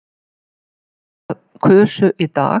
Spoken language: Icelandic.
Á annað hundrað kusu í dag